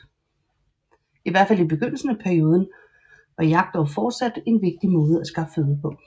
I hvert fald i begyndelsen af perioden var jagt dog fortsat en vigtig måde at skaffe føde på